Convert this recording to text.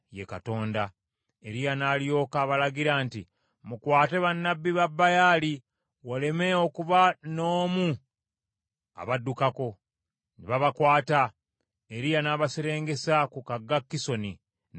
Eriya n’alyoka abalagira nti, “Mukwate bannabbi ba Baali, waleme okuba n’omu abaddukako.” Ne babakwata, Eriya n’abaserengesa ku kagga Kisoni, n’abattira eyo.